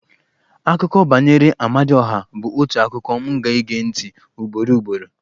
Akụkọ banyere Amadioha bụ otu akụkọ m ga-ege ntị ugboro ugboro